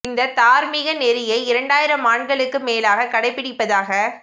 இந்தத் தார்மீக நெறியை இரண்டாயிரம் ஆண்டுகளுக்கு மேலாகக் கடைப்பிடிப்பதாகக்